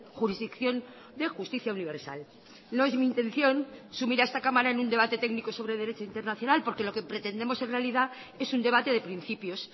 jurisdicción de justicia universal no es mi intención sumir a esta cámara en un debate técnico sobre derecho internacional porque lo que pretendemos en realidad es un debate de principios